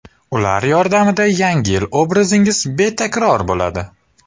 Ular yordamida Yangi yil obrazingiz betakror bo‘ladi!